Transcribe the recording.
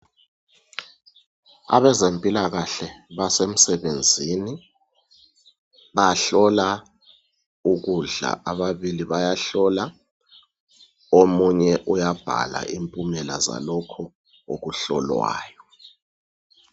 Abezemphikahle basebenzini bahlola ukudla. Ababili bayahlola, omunye uyabhala imphumela zalokhu okuhlolwayo.